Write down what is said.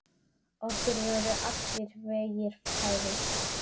Okkur voru allir vegir færir.